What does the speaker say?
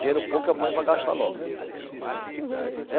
Dinheiro pouco eu ponho para gastar logo. é